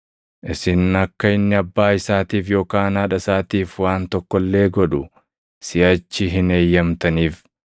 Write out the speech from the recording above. isin akka inni abbaa isaatiif yookaan haadha isaatiif waan tokko illee godhu siʼachi hin eeyyamtaniif.